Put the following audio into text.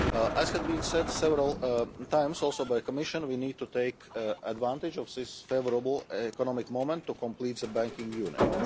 As has been said several times, also by the Commission, we need to take advantage of this favourable economic moment to complete the Banking Union.